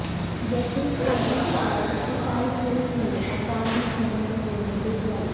justice Qazi Faez Isa case میں attorney general کو notice جاری